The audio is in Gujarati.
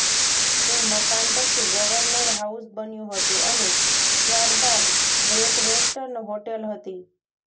એ મકાન પછી ગવર્નર હાઉસ બન્યું હતું અને ત્યાર બાદ ગ્રેટ વેસ્ટર્ન હોટેલ હતી